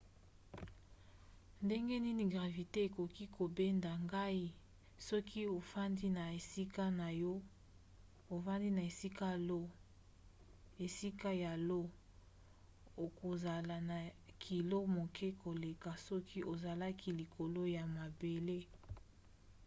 ndenge nini gravite ekoki kobenda ngai? soki ofandi na esika ya io okozala na kilo moke koleka soki ozalaki likolo ya mabele